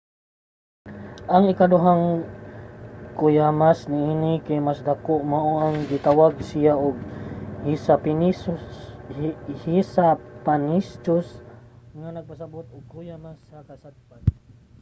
ang ikaduhang kuyamas niini kay mas dako mao nang gitawag siya og hesapannychus nga nagpasabot nga kuyamas sa kasadpan.